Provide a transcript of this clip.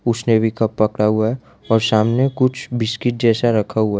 उसने भी कप पड़ा हुआ है और सामने कुछ बिस्किट जैसा रखा हुआ है।